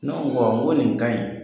Ne ko n ko nin ka ɲi.